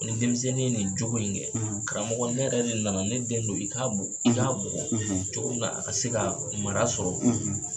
ni denmisɛnnin nin cogo in kɛ karamɔgɔ ne yɛrɛ de nana ne den don i ka bugɔ cogo min na a ka se ka mara sɔrɔ